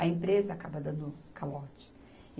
A empresa acaba dando calote.